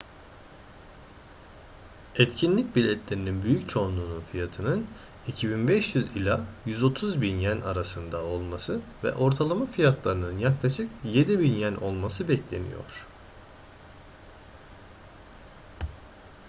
etkinlik biletlerinin büyük çoğunluğunun fiyatının 2.500 ila 130.000 ¥ arasında olması ve ortalama fiyatlarının yaklaşık 7.000 ¥ olması bekleniyor